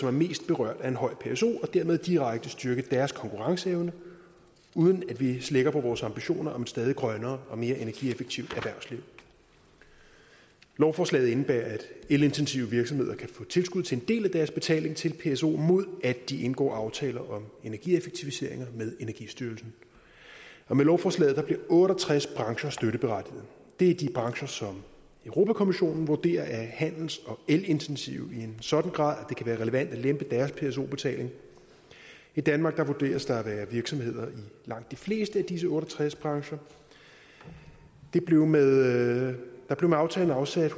er mest berørt af en høj pso og dermed direkte styrke deres konkurrenceevne uden at vi slækker på vores ambitioner om et stadigt grønnere og mere energieffektivt erhvervsliv lovforslaget indebærer at elintensive virksomheder kan få tilskud til en del af deres betaling til pso mod at de indgår aftaler om energieffektiviseringer med energistyrelsen og med lovforslaget bliver otte og tres brancher støtteberettiget det er de brancher som europa kommissionen vurderer er handels og elintensive i en sådan grad at kan være relevant at lempe deres pso betaling i danmark vurderes der at være virksomheder i langt de fleste af disse otte og tres brancher der blev med aftalen afsat